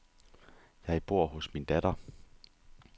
Jeg bor hos min datter.